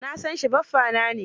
Na san shi, baffana ne.